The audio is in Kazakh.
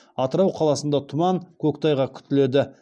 атырау қаласында тұман көктайғақ күтіледі